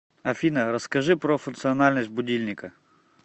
афина расскажи про функциональность будильника